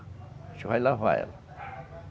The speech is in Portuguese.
A gente vai lavar ela.